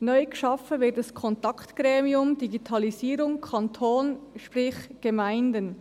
Neu geschaffen wird ein Kontaktgremium Digitalisierung Kanton, sprich Gemeinden.